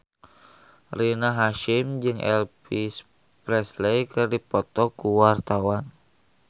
Rina Hasyim jeung Elvis Presley keur dipoto ku wartawan